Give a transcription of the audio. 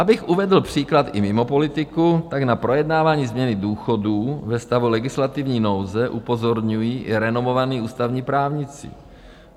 Abych uvedl příklad i mimo politiku, tak na projednávání změny důchodů ve stavu legislativní nouze upozorňují i renomovaní ústavní právníci.